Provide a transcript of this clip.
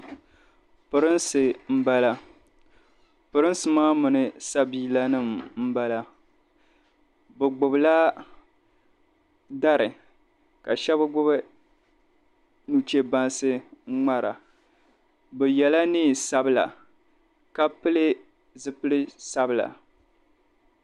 Pirinsi m-bala pirinsi maa mini sabiilanima m-bala bɛ gbubila dari ka shɛba gbubi nucheebansi n ŋmara bɛ yɛla nɛm’sabila ka pili zupil’sabila.